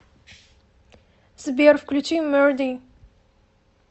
сбер включи мерди